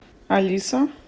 алиса